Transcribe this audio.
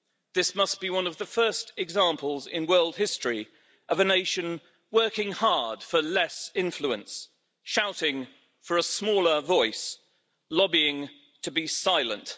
This must be one of the first examples in world history of a nation working hard for less influence, shouting for a smaller voice, lobbying to be silent.